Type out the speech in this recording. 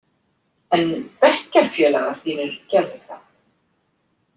En bekkjarfélagar þínir gerðu það.